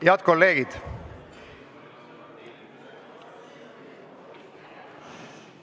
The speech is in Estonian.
Head kolleegid!